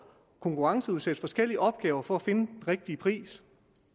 at konkurrenceudsætte forskellige opgaver for at finde den rigtige pris